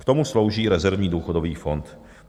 K tomu slouží rezervní důchodový fond.